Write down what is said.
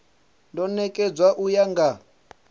do nekedzwa u ya nga